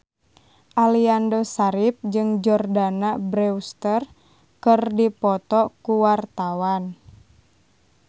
Aliando Syarif jeung Jordana Brewster keur dipoto ku wartawan